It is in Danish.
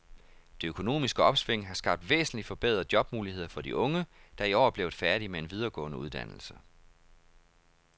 Det økonomiske opsving har skabt væsentligt forbedrede jobmuligheder for de unge, der i år er blevet færdige med en videregående uddannelse.